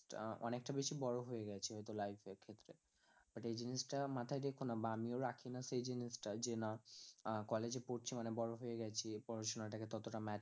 অনেকটা বেশি বড়ো হয়ে গেছি হয়তো life এর ক্ষেত্রে but এই জিনিস টা মাথায় রেখোনা, বা আমিও রাখিনা সেই জিনিস টা যে না আহ college এ পড়ছি মানে বড়ো হয়ে গেছি এই পড়াশোনা টাকে ততটা